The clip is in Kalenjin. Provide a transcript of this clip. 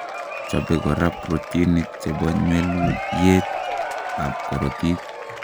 Chobe koraa protinik chebo nywelyeet ab korotik